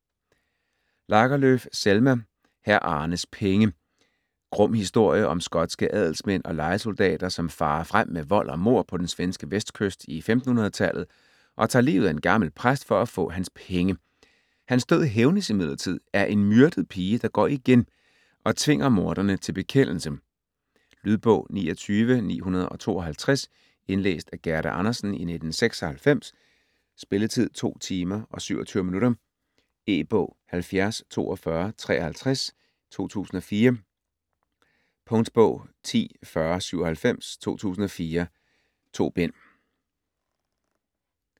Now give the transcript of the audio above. Lagerlöf, Selma: Hr. Arnes penge Grum historie om skotske adelsmænd og lejesoldater som farer frem med vold og mord på den svenske vestkyst i 1500-tallet og tager livet af en gammel præst for at få hans penge. Hans død hævnes imidlertid af en myrdet pige, der går igen og tvinger morderne til bekendelse. Lydbog 29952 Indlæst af Gerda Andersen, 1996. Spilletid: 2 timer, 27 minutter. E-bog 704253 2004. Punktbog 104097 2004. 2 bind.